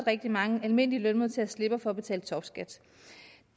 rigtig mange almindelige lønmodtagere slipper for at betale topskat